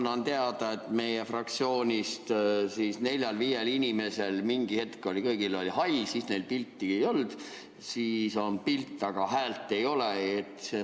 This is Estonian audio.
Ma annan teada, et meie fraktsioonist neljal-viiel inimesel oli mingi hetk kõigil hall, neil pilti ei olnud, siis oli pilt, aga häält ei olnud.